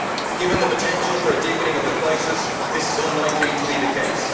Given the potential for a deepening of the crisis, this is unlikely to be the case.